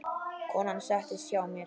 Konan settist hjá mér.